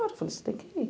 Falei, você tem que ir.